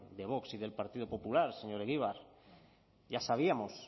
de vox y del partido popular señor egibar ya sabíamos